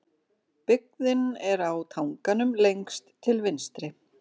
Byggðin er á tanganum lengst til vinstri.